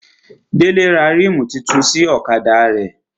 Délé ra rímù tuntun fún ọ̀kadà rẹ̀